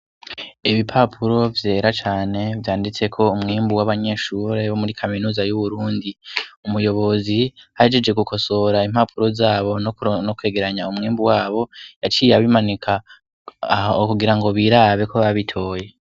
Ibipapuro vyera cane vyanditseko umwembu w'abanyeshure wo muri kaminuza y'uwurundi umuyobozi hajije gukosora impapuro zabo no kwegeranya umwembu wabo yaciye abimanika aho ukugira ngo birabeko babitoye.